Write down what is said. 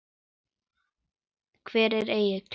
Hvar er Egill?